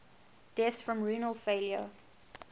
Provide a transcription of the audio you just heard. deaths from renal failure